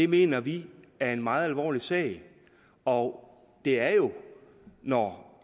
mener vi er en meget alvorlig sag og det er jo når